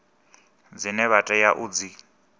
dzine vha tea u dzi